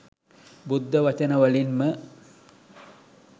බුද්ධ වචන වලින් ම